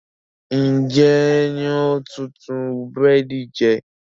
Ń jẹ́ ń ó tùn tún búrẹ́dì jẹ